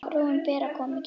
Frúin Bera kom ekki.